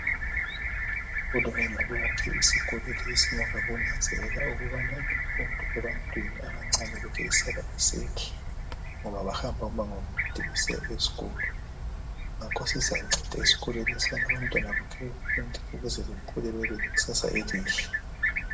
Uhulumende uyakhe isikolo lesi ngemva kokunanzelela ukuba imfundo ebantwini abancane lokhe isala isehla ngoba bahamba umango omude besiya esikolo ngakho sizanceda isikolo leso ukuthi abantwana bonke befunde bekhule bebe lekusasa elihle.